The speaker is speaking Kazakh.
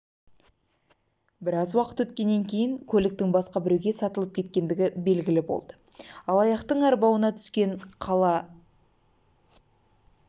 біраз уақыт өткеннен кейін көліктің басқа біреуге сатылып кеткендігі белгілі болды алаяқтың арбауына түскен қала